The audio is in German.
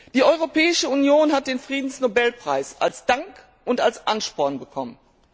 Die Europäische Union hat den Friedensnobelpreis als Dank und als Ansporn bekommen.